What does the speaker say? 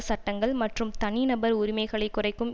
சட்டங்கள் மற்றும் தனிநபர் உரிமைகளை குறைக்கும்